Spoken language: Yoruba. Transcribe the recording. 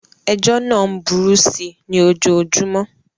Ejọ́ náà ń burú síi ní ojoojúmọ́ ni.